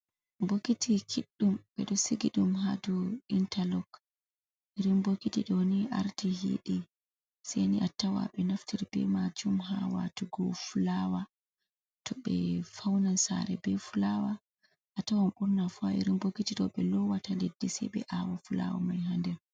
Bokiti kiɗɗum ɓeɗo sigi ɗum ha dou intalok. Irin bokiti ɗoni arti hiɗi seni atawa be naftira be majum ha watugo fulawa. To ɓe faunan sare be fulawa atawan ɓurna fu irin bokiti ɗo ɓe lowata leddi sei ɓe awa fulawa mai ha nder.